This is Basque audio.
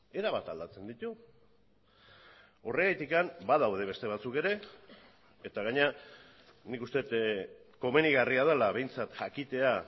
erabat aldatzen ditu horregatik badaude beste batzuk ere eta gainera nik uste dut komenigarria dela behintzat jakitea